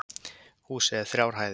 Húsið er þrjár hæðir